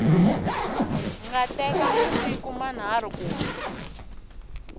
nga teka masiku manharhu ku